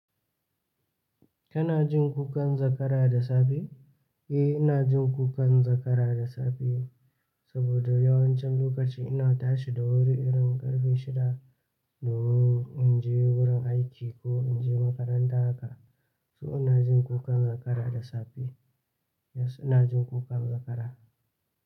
Kana jin kukan zakara da safe? Eh, ina jin kukan zakara da safe saboda, yawancin lokaci ina tashi da wuri irin ƙarfe shida, domin in je wurin aiki ko in je makaranta haka. So ina jin kukan zakara da safe. Yes, ina jin kukan zakara.